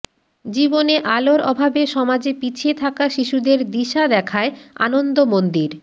জীবনে আলোর অভাবে সমাজে পিছিয়ে থাকা শিশুদের দিশা দেখায় আনন্দমন্দির